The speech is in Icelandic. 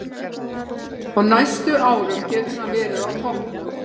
Á næstu árum getur hann verið á toppnum.